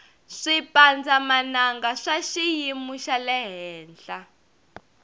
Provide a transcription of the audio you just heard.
swipandza mananga swa swiyimu xalehenhla